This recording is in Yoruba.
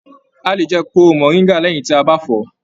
A lè jẹ kóró moringa lẹyìn tí a bá fọ.